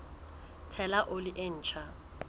ho tshela oli e ntjha